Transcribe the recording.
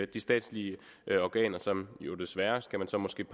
de statslige organer som jo desværre kan man så måske